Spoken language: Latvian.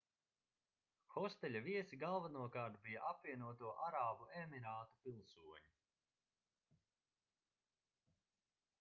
hosteļa viesi galvenokārt bija apvienoto arābu emirātu pilsoņi